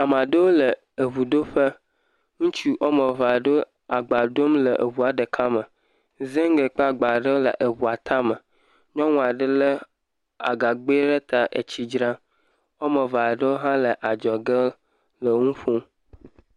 Ame aɖewo le eŋuɖoƒe. Ŋutsu wɔme eve aɖewo agba dom eŋua ɖeka me. Zigli kple agba aɖewo le eŋua ta me. Nyɔnu aɖe le agagbɛ ɖe ta etsi dram. Wo ame eve aɖewo hã le adzɔge enu ƒom.